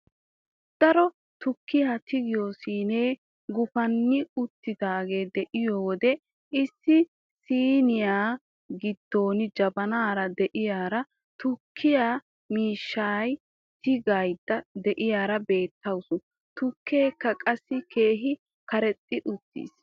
Daro tukkiyaa tiggiyoo siinee gupani uttidaagee de'iyoo wode issi siiniyaa giddo jabaanara de'iyaara tukkiyaa mishiriyaa tigaydda de'iyaara beettawus. tukkeekka qassi keehi karexxi uttiis.